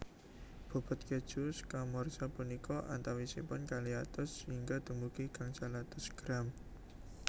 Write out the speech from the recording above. Bobot kèju scamorza punika antawisipun kalih atus hingga dumugi gangsal atus gram